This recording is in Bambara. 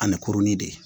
Ani kurunin de